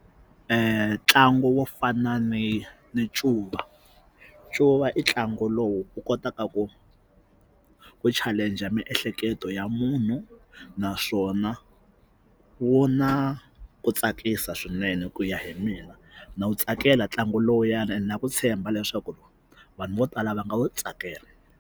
Ntlangu wo fana ni ncuva ncuva i ntlangu lowu u kotaka ku ku challenge miehleketo ya munhu naswona wu na ku tsakisa swinene ku ya hi mina na wu tsakela ntlangu lowuyani ene na ku tshemba leswaku loko vanhu vo tala va nga wu tsakela.